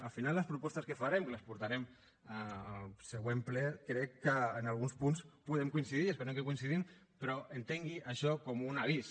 al final les propostes que farem que les portarem al següent ple crec que en alguns punts podem coincidir esperem que hi coincidim però entengui això com un avís